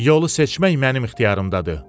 Yolu seçmək mənim ixtiyarımdadır.